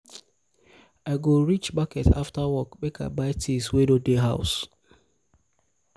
i go reach i go reach market afta work make i buy tins wey no dey house. um